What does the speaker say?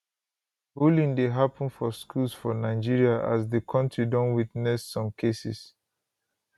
bullying dey happun for schools for nigeria as di kontri don witness some cases